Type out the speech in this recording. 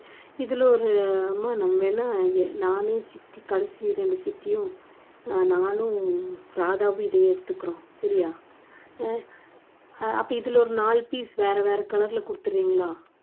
இதுல ஒரு அம்மா நம்ம என்ன நானே சித்தி கடைசி ரெண்டு சித்தியும் நானும் ராதாவும் இதையே எடுத்துக்குறோம். சரியா அஹ் அப்ப இதுல ஒரு நாலு piece வேற வேற color ல கொடுத்துறீங்களா